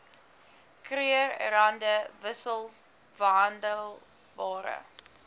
krugerrande wissels verhandelbare